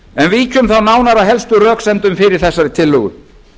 víkjum þá nánar að helstu röksemdum fyrir þessari tillögu